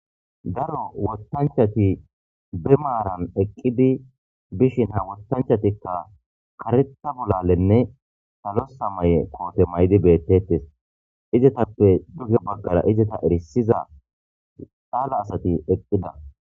Daro woththanchchati be maaran eqqidi dishin ha woththanchchatikka kareththa bolalenne salo samaye koote mayidi beettettes. Izetappe duge baggara izeta erissiza caala asati eqqida.